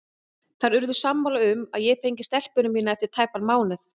Þær urðu sammála um að ég fengi stelpuna mína eftir tæpan mánuð.